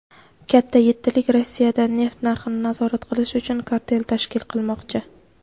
"Katta yettilik" Rossiyadan neft narxini nazorat qilish uchun kartel tashkil qilmoqchi.